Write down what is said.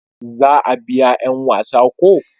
za a biya yan wasa ko?